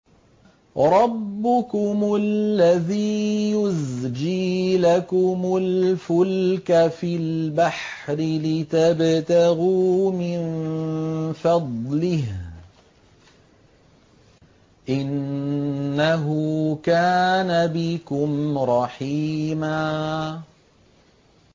رَّبُّكُمُ الَّذِي يُزْجِي لَكُمُ الْفُلْكَ فِي الْبَحْرِ لِتَبْتَغُوا مِن فَضْلِهِ ۚ إِنَّهُ كَانَ بِكُمْ رَحِيمًا